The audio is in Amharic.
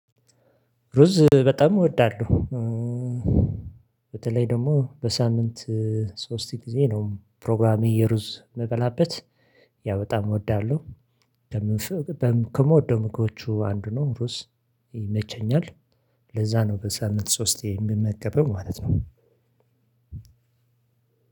ሩዝ በጣም እወዳለሁ። በተለይ ደግሞ በሳምንት ሶስት ጊዜ ነው ፕሮግራሜ የሩዝ ምበላበት። ያው በጣም እወዳለሁ። ከምወደው ምግቦቹ አንዱ ነው። ሩስ ይመቸኛል። ለዛ ነው በሳምንት ሶስቴ የምመገበው ማለት ነው።